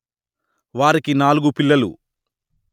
వారికి నాలుగు పిల్లలు